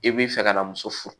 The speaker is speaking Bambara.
I b'i fɛ ka na muso furu